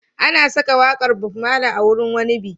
An saka waƙar Bob Marley a wurin wani biki.